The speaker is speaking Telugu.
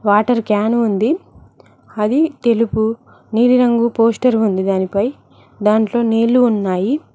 వాటర్ క్యాన్ ఉంది అది తెలుపు నీలిరంగు పోస్టర్ ఉంది దానిపై దాంట్లో నీళ్లు ఉన్నాయి.